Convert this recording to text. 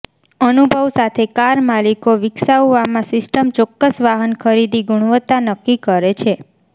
અનુભવ સાથે કાર માલિકો વિકસાવવામાં સિસ્ટમ ચોક્કસ વાહન ખરીદી ગુણવત્તા નક્કી કરે છે